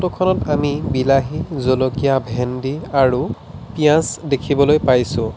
ফটোখনত আমি বিলাহী জলকীয়া ভেন্দী আৰু পিয়াজ দেখিবলৈ পাইছোঁ।